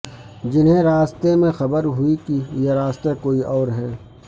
جنھیں راستے میں خبر ہوئی کہ یہ راستہ کوئی اور ہے